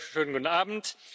Schönen guten Abend.